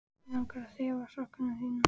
Mig langar að þefa af sokkum þínum.